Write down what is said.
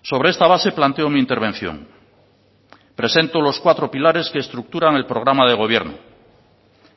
sobre esta base planteo mi intervención presento los cuatro pilares que estructuran el programa de gobierno